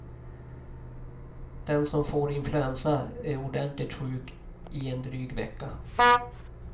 Den som får influensa är ordentligt sjuk i en dryg vecka.